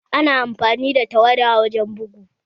Ana amfani da tawada wurin bugu